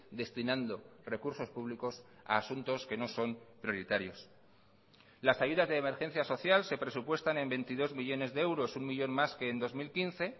destinando recursos públicos a asuntos que no son prioritarios las ayudas de emergencia social se presupuestan en veintidós millónes de euros uno millón más que en dos mil quince